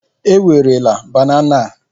Ewerela banana a!